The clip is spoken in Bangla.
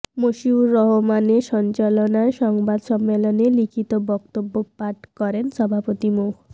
মশিউর রহমানের সঞ্চালনায় সংবাদ সম্মেলনে লিখিত বক্তব্য পাঠ করেন সভাপতি মো